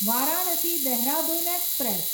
Varanasi Dehradun express